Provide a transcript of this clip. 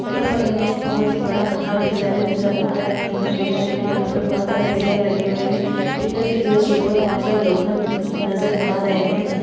यहाँ पर हमें एक बोहोत ही बड़ा महाविद्यालय नजर आ रहा है। महाविद्यालय के यहाँ पे बोहोत सारे पिलर लगे हुए हैं। पिलर के जस्ट ऊपर बोहोत सारे लोहखण्ड नजर आ रहे हैं।